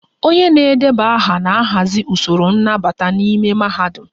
onye na-edeba aha na-ahazi usoro nnabata n'ime mahadum